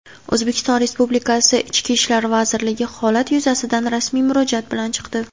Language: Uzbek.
O‘zbekiston Respublikasi Ichki ishlar vazirligi holat yuzasidan rasmiy murojaat bilan chiqdi.